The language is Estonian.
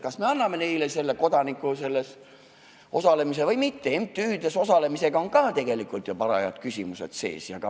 MTÜ-des osalemisega seoses on ka see küsimus tegelikult üles kerkinud.